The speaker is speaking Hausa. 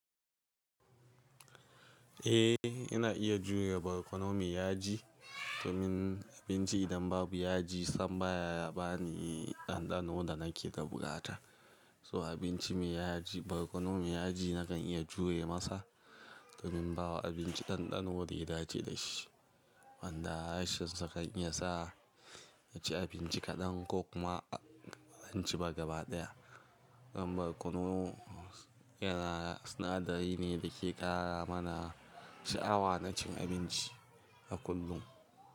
Eh, ina iya jure barkono mai yaji domin abinci idan babu yaji sam baya bani ɗanɗano da nake da buƙata. So abinci mai yaji, barkono mai yaji nakan iya jure masa domin bawa abinci ɗanɗano da ya dace da shi. Wanda rashin sa kan iya sa ya ci abinci kaɗan ko kuma a ci ba gaba ɗaya. Don barkono yana sinadari ne da ke ƙara mana sha'awa na cin abinci a kullum.